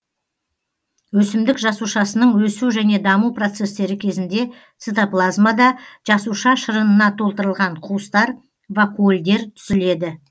өсімдік жасушасының өсу және даму процестері кезінде цитоплазмада жасуша шырынына толтырылған қуыстар вакуольдер түзіледі